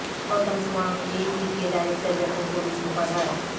Gautam Sawang A P کے director general police مقرر